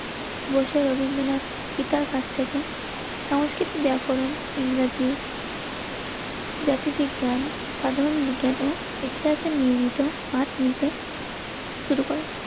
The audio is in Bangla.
বসে রবীন্দ্রনাথ পিতার কাছ থেকে সংস্কৃতি ব্যাকরণ ইংরেজি জাতি বিজ্ঞান সাধারণ বিজ্ঞান ও ইতিহাসের নিয়মিত পাঠ নিতে শুরু করে